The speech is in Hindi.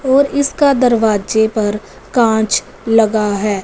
और इसका दरवाजे पर कांच लगा है।